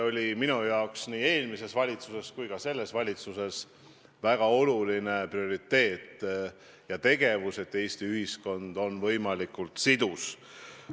Tõsi see on, et nii eelmises valitsuses kui ka selles valitsuses on minu jaoks olnud väga oluline prioriteet see, et Eesti ühiskond oleks võimalikult sidus.